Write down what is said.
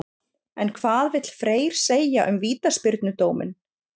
En hvað vill Freyr segja um vítaspyrnudóminn?